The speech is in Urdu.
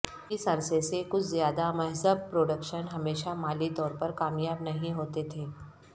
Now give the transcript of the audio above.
اس عرصے سے کچھ زیادہ مہذب پروڈکشن ہمیشہ مالی طور پر کامیاب نہیں ہوتے تھے